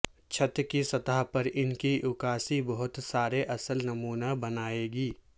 چھت کی سطح پر ان کی عکاسی بہت سارے اصل نمونہ بنائے گی